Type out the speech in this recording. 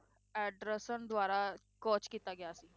Anderson ਦੁਆਰਾ coach ਕੀਤਾ ਗਿਆ ਸੀ।